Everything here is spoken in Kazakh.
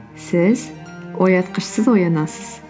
сіз оятқышсыз оянасыз